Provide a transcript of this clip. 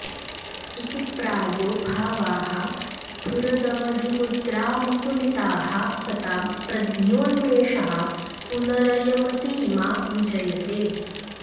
इति प्रायो भावाः स्फुरदवधिमुद्रामुकुलिताः सतां प्रज्ञोन्मेषः पुनरयमसीमा विजयते